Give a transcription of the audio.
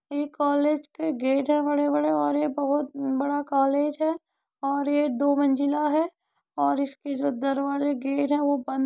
ए college के gate है बड़े-बड़े और ये बहुत न् बड़ा कॉलेज है और ये दो मंजिला है और इसकी जो दरवाजे गेट है वो बन --